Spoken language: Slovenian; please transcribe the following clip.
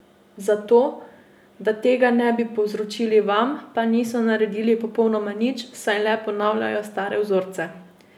Za to, da tega ne bi povzročili vam, pa niso naredili popolnoma nič, saj le ponavljajo stare vzorce.